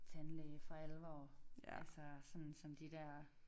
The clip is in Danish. Tandlæge for alvor altså sådan som de der